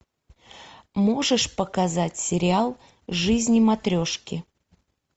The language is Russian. можешь показать сериал жизнь матрешки